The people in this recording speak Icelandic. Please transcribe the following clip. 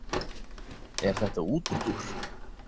Er þetta útúrdúr?